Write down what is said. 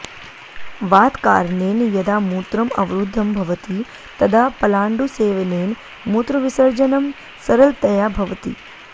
वातकारणेन यदा मूत्रम् अवरुद्धं भवति तदा पलाण्डुसेवनेन मूत्रविसर्जनं सरलतया भवति